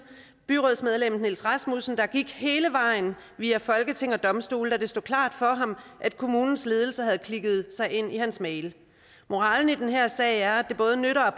byrådsmedlemmet niels rasmussen der gik hele vejen via folketing og domstole da det stod klart for ham at kommunens ledelse havde klikket sig ind i hans mail moralen i den her sag er at det både nytter